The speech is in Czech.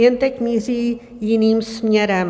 Jen teď míří jiným směrem.